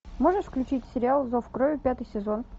можешь включить сериал зов крови пятый сезон